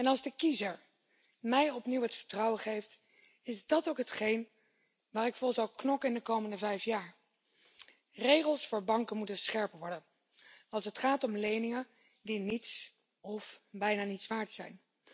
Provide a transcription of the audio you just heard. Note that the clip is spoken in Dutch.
Als de kiezer mij opnieuw het vertrouwen geeft, is dat ook hetgeen waar ik voor zal knokken in de komende vijf jaar. Regels voor banken moeten scherper worden als het gaat om leningen die niets of bijna niets waard zijn.